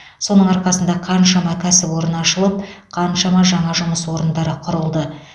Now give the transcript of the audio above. соның арқасында қаншама кәсіпорын ашылып қаншама жаңа жұмыс орындары құрылды